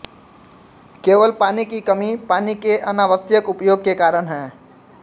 केवल पानी की कमी पानी के अनावश्यक उपयोग के कारण है